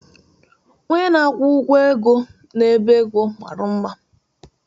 Onye na-akwụ ụgwọ ego n'ebe ego dị mma